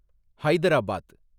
Hyderabad